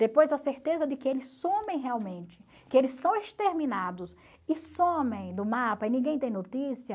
Depois a certeza de que eles somem realmente, que eles são exterminados e somem do mapa e ninguém tem notícia.